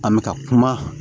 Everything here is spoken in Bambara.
An bɛ ka kuma